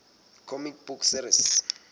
comic book series